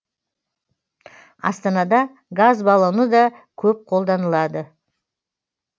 астанада газ баллоны да көп қолданылады